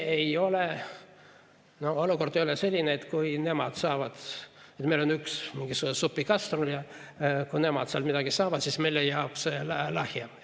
Olukord ei ole ju selline, et meil on üks supikastrul ja kui nemad sealt midagi saavad, siis meile jääb lahjem.